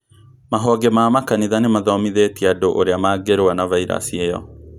Mahonge ma makanitha nĩmathomithĩtie andũ ũrĩa mangĩrua na vairasi ĩyo